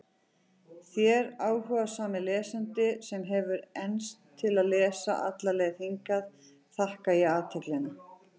Þér, áhugasami lesandi, sem hefur enst til að lesa alla leið hingað, þakka ég athyglina.